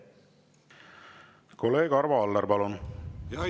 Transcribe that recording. Kolleeg Arvo Aller, palun!